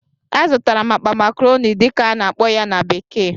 Azụtara m akpa "macaroni" dịka a na-akpọ ya na bekee